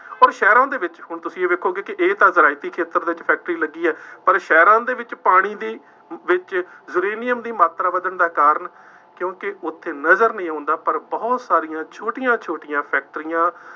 ਅੋਰ ਸ਼ਹਿਰਾਂ ਦੇ ਵਿੱਚ ਹੁਣ ਤੁਸੀਂ ਇਹ ਵੇਖੋਗੇ ਕਿ ਇਹ ਤਾਂ ਜ਼ਰਾਇਤੀ ਖੇਤਰ ਵਿੱਚ ਫੈਕਟਰੀ ਲੱਗੀ ਹੈ। ਪਰ ਸ਼ਹਿਰਾਂ ਦੇ ਵਿੱਚ ਪਾਣੀ ਦੀ ਵਿੱਚ ਯੂਰੇਨੀਅਮ ਦੀ ਮਾਤਰਾ ਵੱਧਣ ਚਾ ਕਾਰਨ, ਕਿਉਂਕਿ ਉੱਥੇ ਨਜ਼ਰ ਨਹੀਂ ਆਉਂਦਾ, ਪਰ ਬਹੁਤ ਸਾਰੀਆਂ ਛੋਟੀਆਂ ਛੋਟੀਆਂ ਫੈਕਟਰੀਆਂ